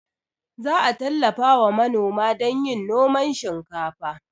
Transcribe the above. Za a tallafawa manoma don yin noman shinkafa